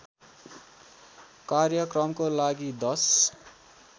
कार्यक्रमको लागि १०